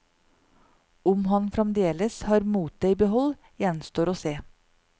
Om han fremdeles har motet i behold, gjenstår å se.